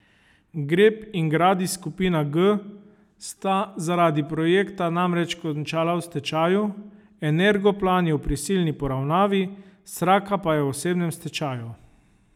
Grep in Gradis skupina G sta zaradi projekta namreč končala v stečaju, Energoplan je v prisilni poravnavi, Sraka pa je v osebnem stečaju.